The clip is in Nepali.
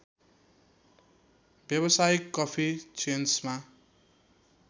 व्यावसायिक कफी चेन्समा